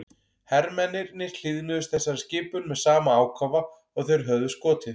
Hermennirnir hlýðnuðust þessari skipun með sama ákafa og þeir höfðu skotið.